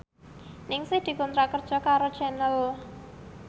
Ningsih dikontrak kerja karo Channel